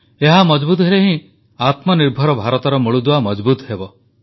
ଏହା ମଜଭୁତ ହେଲେ ହିଁ ଆତ୍ମନିର୍ଭର ଭାରତର ମୂଳଦୁଆ ମଜଭୁତ ହେବ